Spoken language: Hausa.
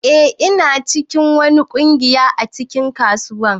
Eh ina cikin wani kungiyar a cikin kasuwa.